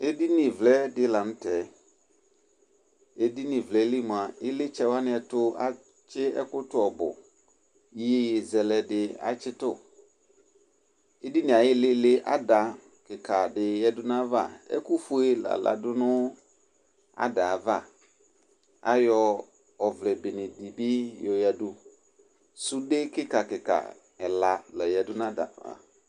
Edini vlɛ dɩ la nʋ tɛ, edini vlɛ li mʋa, ɩlɩtsɛ wanɩ tʋ atsɩ ɛkʋ tʋ ɔbʋIyeyezɛlɛ dɩ atsɩ tʋ Edinie ayɩɩlɩɩlɩ ada kɩka dɩ yǝdu nayava, ɛkʋ fue la ladʋ nʋ adavaAyɔ ɔvlɛ bene dɩ bɩ yɔyǝdu, sude kɩkakɩka ɛla la yǝdu nadava